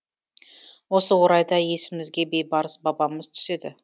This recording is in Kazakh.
осы орайда есімізге бейбарыс бабамыз түседі